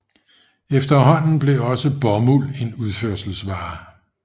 Efterhånden blev også bomuld en udførselsvare